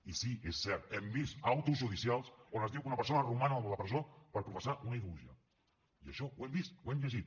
i sí és cert hem vist actes judicials on es diu que una persona roman a la presó per professar una ideologia i això ho hem vist ho hem llegit